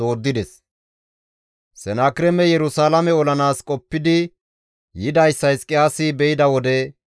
Senakireemey Yerusalaame olanaas qoppidi yidayssa Hizqiyaasi be7ida wode,